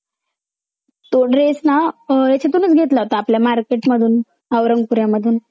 खडका पासून मुर्दांना निर्माण होण्यास हजारो वर्षाचा कालावधीत लागतो वाढती शहरीकरण वाढती खाज कारखानदारी वाढतीलोकसंख्या या मुळी टाकाऊ विषार